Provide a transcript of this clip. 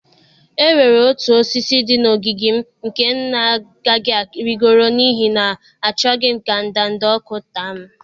E nwere otu osisi dị n'ogige m nke m na-agaghị arịgoro n'ihi na achọghị m ka ndanda ọkụ taa m.